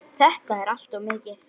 Þetta er allt of mikið!